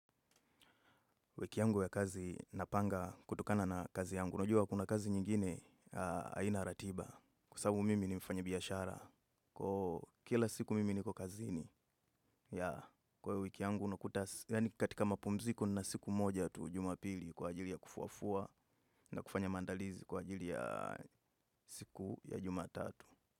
Wiki yangu ya kazi napanga kutokana na kazi yangu. Najua kuna kazi nyingine haina ratiba kwa sasabu mimi ni mfanyibiiashara. Kila siku mimi niko kazini. Kwa hiyo wiki yangu, katika mapumziko nina siku moja tuj umapili kwa ajili ya kufuafua na kufanya mandalizi kwa ajili ya siku ya jumatatu.